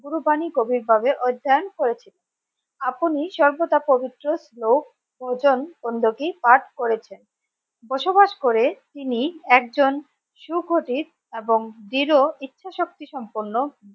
গুরু বাণী কবির ঘরে অধ্যায়ন করেছে আপনি সর্বদা পবিত্র শ্লোক ও পাঠ করেছেন বসবাস করে তিনি একজন সুকথিত এবং দৃঢ় ইচ্ছা শক্তি সম্পন্ন